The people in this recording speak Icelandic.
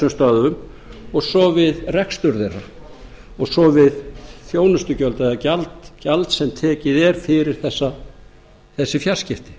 stöðvum og svo við rekstur þeirra og svo við þjónustugjöld eða gjald sem tekið er fyrir þessi fjarskipti